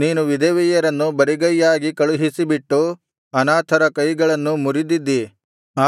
ನೀನು ವಿಧವೆಯರನ್ನು ಬರಿಗೈಯಾಗಿ ಕಳುಹಿಸಬಿಟ್ಟು ಅನಾಥರ ಕೈಗಳನ್ನು ಮುರಿದಿದ್ದಿ